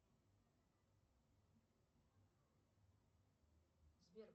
сбер